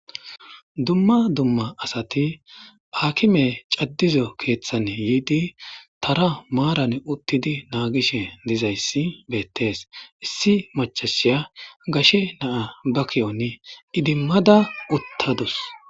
Dumma dumma asati hakime cadiza keethani yiidi tara maaran uttidi naagishe dizayssi beetees issi maccashiya gashe na'a ba ki'oni iddimada utaadus.